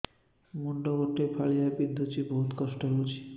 ମୁଣ୍ଡ ଗୋଟେ ଫାଳିଆ ବିନ୍ଧୁଚି ବହୁତ କଷ୍ଟ ହଉଚି